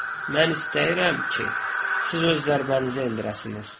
Mən istəyirəm ki, siz öz zərbənizi endirəsiniz.